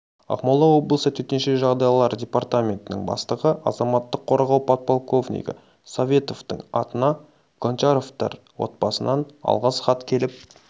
ақмола облысы төтенше жағдайлар департаментінің бастығы азаматтық қорғау подполковнигі советовтың атына гончаровтар отбасынан алғыс хат келіп